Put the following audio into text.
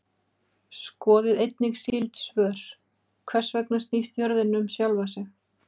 Skoðið einnig skyld svör: Hvers vegna snýst jörðin um sjálfa sig?